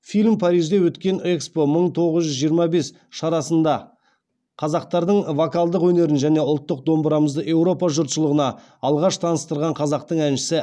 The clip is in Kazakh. фильм парижде өткен экспо мың тоғыз жүз жиырма бес шарасында қазақтардың вокалдық өнерін және ұлттық домбырамызды еуропа жұртшылығына алғаш таныстырған қазақтың әншісі